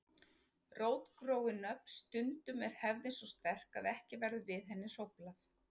Rótgróin nöfn Stundum er hefðin svo sterk að ekki verður við henni hróflað.